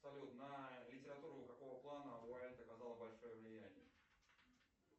салют на литературу какого плана оказала большое влияние